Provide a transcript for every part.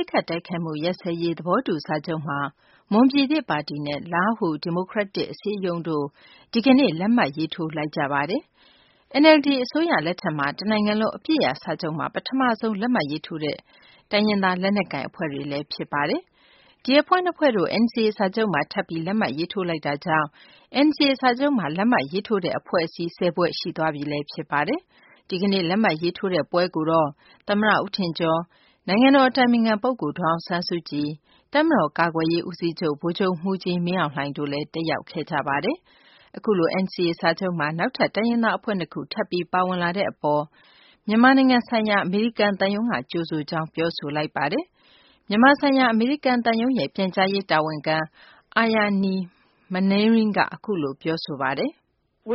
စ်ခတ် တိုက်ခတ်မှု ရပ်စဲရေး သဘောတူ စာချုပ်မှာ မွန်ပြည်သစ် ပါတီနဲ့ လားဟူ ဒီမိုကရက်တစ် အစည်းအရုံးတို့ ဒီကနေ့ လက်မှတ်ရေးထိုးလိုက်ကြပါတယ်။ NLD အစိုးရ လက်ထက်မှာ တနိုင်ငံလုံး အပစ်ရပ် စာချုပ်မှာ ပထမဆုံး လက်မှတ်ရေးထိုးတဲ့ အဖွဲ့တွေလည်း ဖြစ်ပါတယ်။ ဒီအဖွဲ့ နှစ်ဖွဲ့တို့ NCA စာချုပ်မှာ ထပ်ပြီး လက်မှတ်ရေးထိုး လိုက်တာကြောင့် NCA စာချုပ်မှာ လက်မှတ်ရေးထိုး တဲ့ အဖွဲ့အစည်း ၁၀ ဖွဲ့ရှိသွားပြီ ဖြစ်ပါတယ်။ ဒီကနေ့ လက်မှတ်ရေးထိုးပွဲကိုတော့ သမ္မတ ဦးထင်ကျော်၊ နိုင်ငံတော် အတိုင်ပင်ခံ ပုဂ္ဂိုလ် ဒေါ်အောင်ဆန်းစုကြည်၊ တပ်မတော် ကာကွယ်ရေး ဦးစီးချုပ် ဗိုလ်ချုပ်မှူးကြီး မင်းအောင်လှိုင်တို့ တက်ရောက်ခဲ့ကြပါတယ်။ အခုလို NCA စာချုပ်မှာ နောက်ထပ် တိုင်းရင်းသား အဖွဲ့ ၂ ခု ထပ်ပြီး ပါဝင်လာတဲ့ အပေါ် မြန်မာနိုင်ငံဆိုင်ရာ အမေရိကန် သံရုံးက ကြိုဆိုကြောင်း ပြောဆိုလိုက်ပါတယ်။ မြန်မာဆိုင်ရာ အမေရိကန် သံရုံးရဲ့ ပြန်ကြားရေး တာဝန်ခံ Aryani Manring က အခုလို ပြောဆိုပါတယ်။ "မွ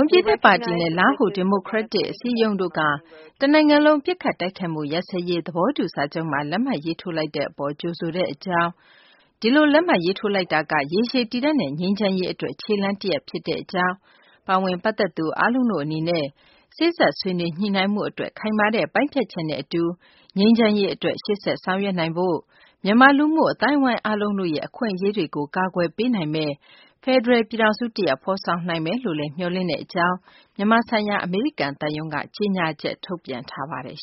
န်ပြည်သစ် ပါတီနဲ့ လားဟူ ဒီမိုကရက်နစ် အစည်းအရုံးတို့က တနိုင်ငံလုံး ပစ်ခတ်တိုက်ခိုက်မှု ရပ်စဲရေး သဘောတူ စာချုပ်မှာ လက်မှတ်ရေးထိုးလိုက်တဲ့ အပေါ် ကြိုဆိုတဲ့အကြောင်း၊ ဒီလို လက်မှတ်ရေးထိုးလိုက်တာက ရေရှည် တည်တံ့တဲ့ ငြိမ်းချမ်းရေး အတွက် ခြေလှမ်းတရပ် ဖြစ်ကြောင်း၊ ပါဝင် ပတ်သက်သူ အားလုံးတို့ အနေနဲ့ စေ့စပ်ဆွေးနွေးညှိနှိုင်းမှု အတွက် ခိုင်မာတဲ့ ပိုင်းဖြတ်ချက်နဲ့ အတူ ငြိမ်းချမ်းရေး အတွက် ရှေ့ဆက် ဆောင်ရွက်နိုင်ဖို့ မြန်မာ လူမှု အသိုင်းအဝိုင်း အားလုံးတို့ရဲ့ အခွင့်အရေးတွေကို ကာကွယ်ပေးနိုင်မယ့် ဖယ်ဒရယ် ပြည်ထောင်စ တရပ် ဖော်ဆောင်နိုင်မယ်လို့လည်း မျှော်လင့်ထားတဲ့ အကြောင်း" မြန်မာဆိုင်ရာ အမေရိကန် သံရုံးက ကြေညာချက် ထုတ်ပြန်ထားပါတယ်